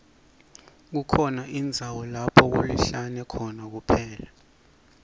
kukhona indzawo lapho kulihlane khona kuphela